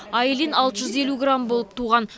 айлин алты жүз елу грамм болып туған